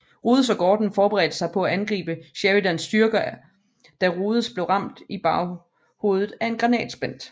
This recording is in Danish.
Rodes og Gordon forberedte sig på at angribe Sheridans styrker da Rodes blev ramt i baghovedet af en granatsplint